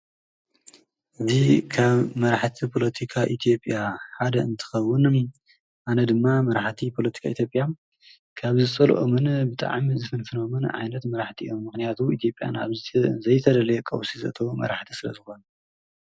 እቲ ካብ መራሕቲ ጶሎቲካ ኢቲዮብያ ሓደ እንትኸውን ኣነ ድማ መራኃቲ ጶሎቲካ ኢቲጴያ ካብ ዝሰልኦምን ብጥዓሚ ዝፍንፍኖምን ዓይነት መራሕቲእኦ ምኽንያቱ ኢቲብያ ናብዙቲ ዘይተደልየ ቐውሲዘተ መራሕቲ ስለ ዝኾን።